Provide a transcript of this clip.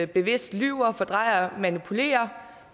bevidst lyver og fordrejer og manipulerer